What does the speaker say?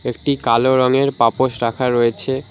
একটি কালো রঙের পাপোশ রাখা রয়েছে।